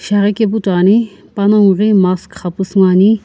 shiaghi kepu toiani panongu ghi mask xapusü ngoani.